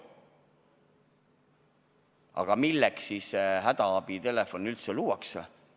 Aga milleks see hädaabitelefon siis üldse luuakse?